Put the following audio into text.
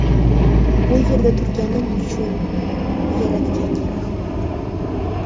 Bu yerda turganim uchun Yaratganga rahmat”.